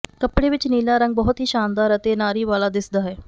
ਕੱਪੜੇ ਵਿਚ ਨੀਲਾ ਰੰਗ ਬਹੁਤ ਹੀ ਸ਼ਾਨਦਾਰ ਅਤੇ ਨਾਰੀ ਵਾਲਾ ਦਿੱਸਦਾ ਹੈ